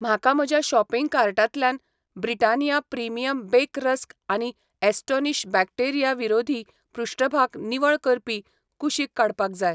म्हाका म्हज्या शॉपिंग कार्टांतल्यान ब्रिटानिया प्रीमियम बेक रस्क आनी ॲस्टोनिश बॅक्टेरिया विरोधी पृष्ठभाग निवळ करपी कुशीक काडपाक जाय.